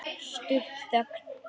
Stutt þögn.